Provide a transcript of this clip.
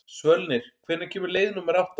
Svölnir, hvenær kemur leið númer átta?